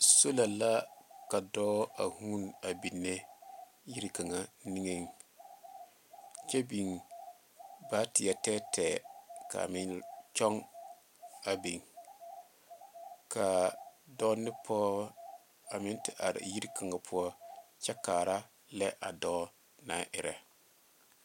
Sola la ka dɔɔ a hũũni a binne yiere kakŋa niŋeŋ kyɛ biŋ baateɛ tɛɛtɛɛ ka a meŋ kyɔŋ a biŋ ka dɔɔ ne pɔge a meŋ te are yiri kaŋa poɔ a kaara laɛ a dɔɔ naŋ erɛ.